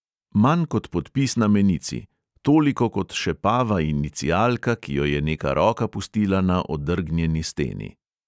Manj kot podpis na menici, toliko kot šepava inicialka, ki jo je neka roka pustila na odrgnjeni steni.